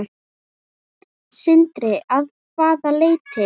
Sindri: Að hvaða leyti?